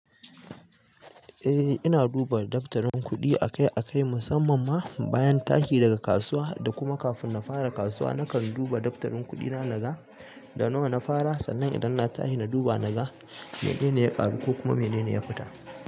Eh ina duba daftarin kuɗi akai-akai, musamman ma bayan tashi daga kasuwa da kuma kafin na fara kasuwa. Nakan duba daftarin kuɗina naga da nawa na fara sannan idan na tashi na duba naga menene ya ƙaru ko kuma menene ya fita.